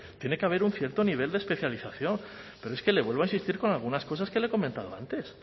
tiene que haber un cierto nivel de especialización pero es que le vuelvo a insistir con algunas cosas que le he comentado antes